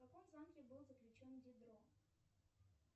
в каком замке был заключен дидро